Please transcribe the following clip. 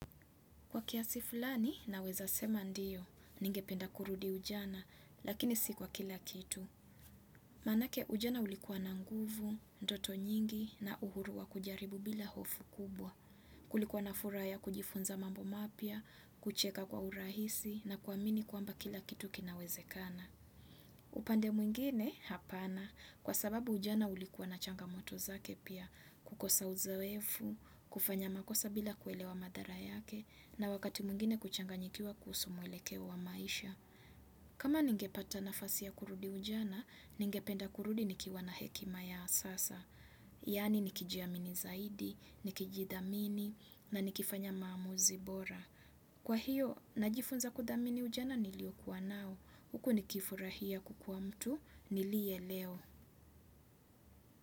Kwa kiasi fulani, naweza sema ndiyo, ningependa kurudi ujana, lakini si kwa kila kitu. Manake ujana ulikuwa na nguvu, ndoto nyingi, na uhuru wa kujaribu bila hofu kubwa. Kulikuwa na furaha ya kujifunza mambo mapia, kucheka kwa urahisi, na kuamini kuamba kila kitu kinawezekana. Upande mwingine, hapana, kwa sababu ujana ulikuwa na changamoto zake pia, kukosa uzowefu, kufanya makosa bila kuelewa madhara yake, na wakati mwingine kuchanganyikiwa kuhusu mwelekeo wa maisha. Kama ningepata nafasi ya kurudi ujana, ningependa kurudi nikiwa na hekima ya sasa. Yani nikijiamini zaidi, nikijidhamini, na nikifanya maamuzi bora. Kwa hiyo, najifunza kudhamini ujana niliokuwa nao. Huku nikifurahia kukua mtu, nilie leo.